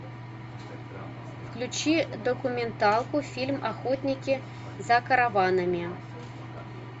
включи документалку фильм охотники за караванами